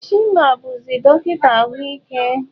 Chima bụzi dọkịta ahụike.